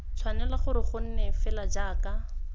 tshwanela gore gonne fela jaaka